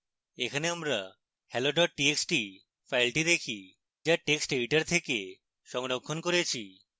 এখানে আমরা hello txt file দেখি যা text editor থেকে সংরক্ষণ করেছি